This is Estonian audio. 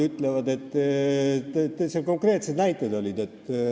Täitsa konkreetsed näited olid.